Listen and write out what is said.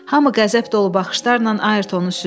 Hamı qəzəb dolu baxışlarla Ayrtonu süzdü.